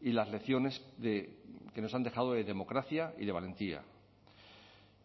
y las lecciones que nos han dejado de democracia y de valentía